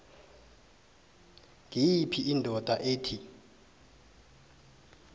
ngiyiphi indoda ethi